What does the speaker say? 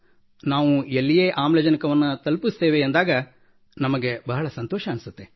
ನಾವು ಎಲ್ಲಿಯೇ ಆಮ್ಲಜನಕವನ್ನು ತಲುಪಿಸುತ್ತೇವೆ ಎಂದಾಗ ನಮಗೆ ಬಹಳ ಸಂತೋಷವೆನಿಸುತ್ತದೆ